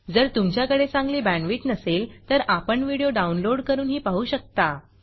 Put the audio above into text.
जर तुमच्याकडे चांगली बॅंडविड्त नसेल तर आपण व्हिडिओ downloadडाउनलोड करूनही पाहू शकता